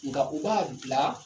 Nka u b'a bila